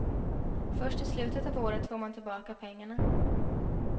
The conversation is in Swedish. Först i slutet av året får man tillbaka pengarna.